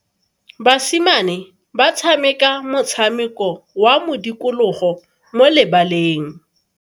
Basimane ba tshameka motshameko wa modikologo mo lebaleng.